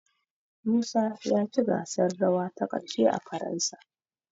Musa ya ci gasar rawa ta ƙarshe a Faransa.